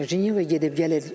Cenevrəyə gedib gəlir.